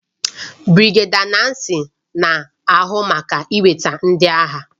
Birigedia Nnacy na-ahụ maka iweta ndị agha